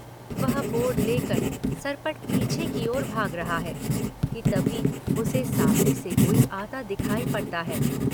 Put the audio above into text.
वह बोर्ड ले कर सरपट पीछे की ओर भाग रहा है कि तभी उसे सामने से कोई आता दिखाई पड़ता है।